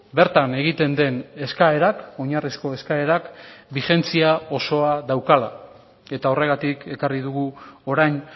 bertan egiten den eskaerak oinarrizko eskaerak bigentzia osoa daukala eta horregatik ekarri dugu orain